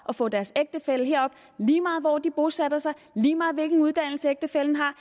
at få deres ægtefælle herop lige meget hvor de bosætter sig lige meget hvilken uddannelse ægtefællen har